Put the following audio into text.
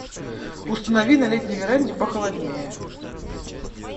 установи на летней веранде похолоднее